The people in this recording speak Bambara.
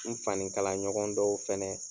N fanikala ɲɔgɔn dɔw fɛnɛ